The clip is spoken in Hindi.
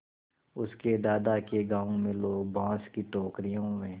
उसके दादा के गाँव में लोग बाँस की टोकरियों में